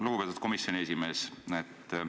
Lugupeetud komisjoni esimees!